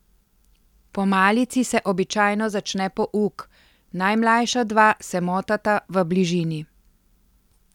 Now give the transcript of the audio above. Po malici se običajno začne pouk, najmlajša dva se motata v bližini.